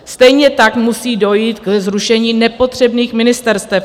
Stejně tak musí dojít ke zrušení nepotřebných ministerstev.